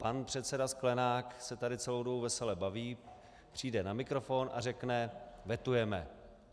Pan předseda Sklenák se tady celou dobu vesele baví, přijde na mikrofon a řekne - vetujeme.